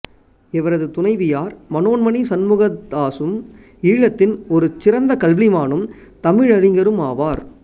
இவரது துணைவியார் மனோன்மணி சண்முகதாசும் ஈழத்தின் ஒரு சிறந்த கல்விமானும் தமிழறிஞருமாவார்